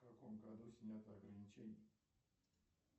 в каком году снято ограничение